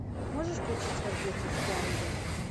можешь включить рождественский ангел